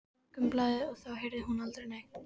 Morgunblaðið og þá heyrði hún aldrei neitt.